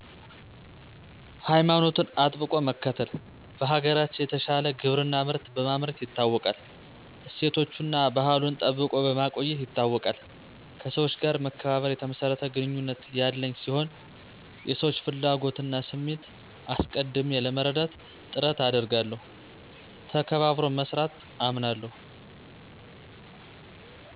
ሀይማኖቱን አጥብቆ መከተል, በሀገራችን የተሻለ ግብርና ምርት በማምረት ይታወቃል ,እሴቶቱና አና ባህሉን ጠብቆ በማቆየት ይታወቃል ,ከሠወች ጋር መከባበር የተመሰረተ ግንኙነት ያለኝ ሲሆን የሰወች ፍላጎት እና ስሜት አሰቀድሜ ለመረዳት ጥረት አደርጋለሁ ,ተባበሮ መስራት አምናለሁ